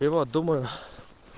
и вот думаю